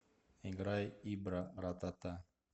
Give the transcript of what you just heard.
играй ибра ра та та